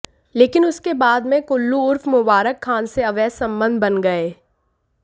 लेकिन उसके बाद में कल्लू उर्फ मुबारक खान से अवैध संबंध बन गए